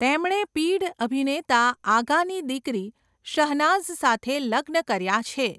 તેમણે પીઢ અભિનેતા આગાની દીકરી શહનાઝ સાથે લગ્ન કર્યાં છે.